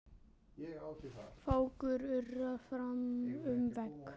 Fákur urrar fram um veg.